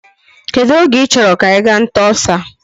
Kedụ oge i chọrọ ka anyị gaa nta ọsa.